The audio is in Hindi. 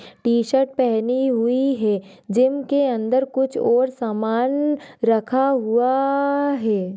टी-शर्ट पहनी हुई है जिम के अन्दर कुछ और समान रखा हुआ है।